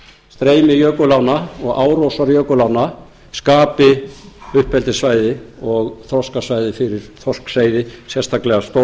streymi jökulánna og árósar jökulánna skapi uppeldissvæði og þroskasvæði fyrir þorskseiði sérstaklega stóran